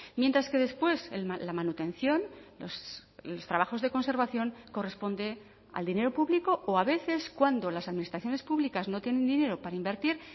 mientras que después la manutención los trabajos de conservación corresponde al dinero público o a veces cuando las administraciones públicas no tienen dinero para invertir